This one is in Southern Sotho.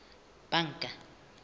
banka